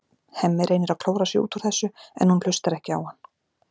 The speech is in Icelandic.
Hemmi reynir að klóra sig út úr þessu en hún hlustar ekki á hann.